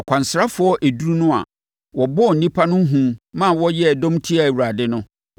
Akwansrafoɔ edu no a wɔbɔɔ nnipa no hu ma wɔyɛɛ dɔm tiaa Awurade no,